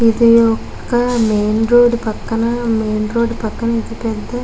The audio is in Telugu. ఇది ఒక్క మెయిన్ రోడ్డు పక్కన మెయిన్ రోడ్ పక్కన ఇది పెద్ద --